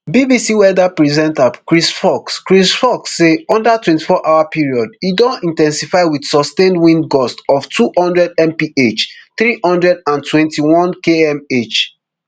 bbc weather presenter chris fawkes chris fawkes say under twenty-four hour period e don in ten sify wit sustained wind gusts of two hundredmph three hundred and twenty-one kmh